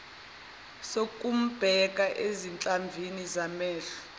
sokumbheka ezinhlamvini zamehlo